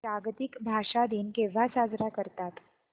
जागतिक भाषा दिन केव्हा साजरा करतात